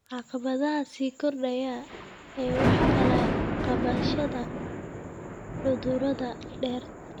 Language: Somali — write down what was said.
Caqabadaha sii kordhaya ee wax ka qabashada cudurada dhirta.